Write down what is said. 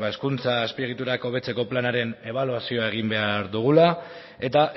ba hezkuntza azpiegiturak hobetzeko planaren ebaluazioa egin behar dugula eta